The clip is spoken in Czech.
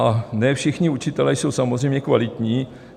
A ne všichni učitelé jsou samozřejmě kvalitní.